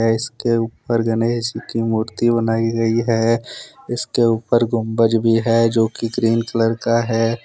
आ इसके ऊपर गणेश जी की मूर्ति बनाई गई है इसके ऊपर गुंबज भी है जोकि ग्रीन कलर का है।